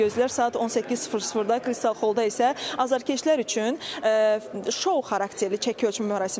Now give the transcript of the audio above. Saat 18:00-da Kristal Xollda isə azərkeşlər üçün şou xarakterli çəki ölçmə mərasimi olacaq.